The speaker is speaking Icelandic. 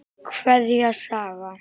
Kveðja, Saga.